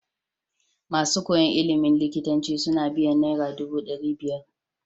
Masu koyan ilimin likitanci suna biyan naira dubu dari biyar